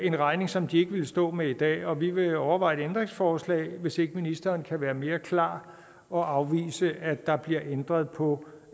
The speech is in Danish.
en regning som de ikke ville stå med i dag og vi vil overveje et ændringsforslag hvis ikke ministeren kan være mere klar og afvise at der bliver ændret på